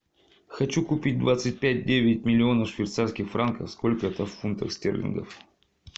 хочу купить двадцать пять девять миллионов швейцарских франков сколько это в фунтах стерлингов